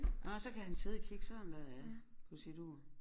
Nåh så kan han sidde og kigge sådan der ja på sit ur